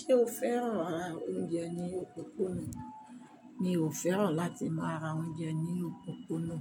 Ṣé o féràn ma ra oúnjẹ ni pọnpọ́nù? Mi ò féràn láti máa ra oúnjẹ nínú pọnpọ́nù.